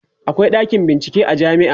akwai ɗakin bincike a jamia